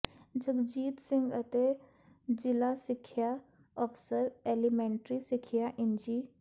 ਜਗਜੀਤ ਸਿੰਘ ਅਤੇ ਜਿਲ੍ਹਾ ਸਿੱਖਿਆ ਅਫਸਰ ਐਲੀਮੇਂਟਰੀ ਸਿੱਖਿਆ ਇੰਜੀ